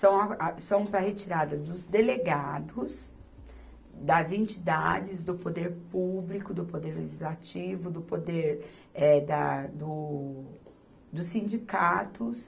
são a, a, são para retirada dos delegados, das entidades, do poder público, do poder legislativo, do poder, eh da, do, dos sindicatos.